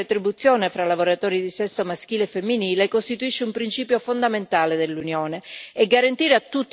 Eppure la parità di retribuzione fra lavoratori di sesso maschile e femminile costituisce un principio fondamentale dell'Unione.